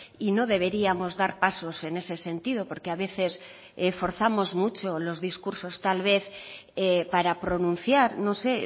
y no deberíamos dar pasos en ese sentido porque a veces forzamos mucho los discursos tal vez para pronunciar no sé